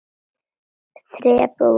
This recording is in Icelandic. Þrepin voru hrein.